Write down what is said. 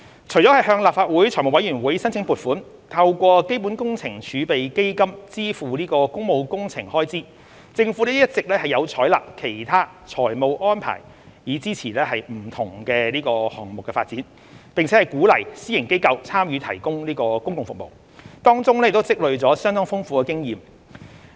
除了向立法會財務委員會申請撥款，透過基本工程儲備基金支付工務工程開支，政府一直有採納其他財務安排以支持不同項目發展，並鼓勵私營機構參與提供公共服務，當中已經累積相當豐富的經驗。